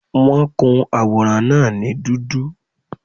Wọ́n kun àwòrán náà ní dúdú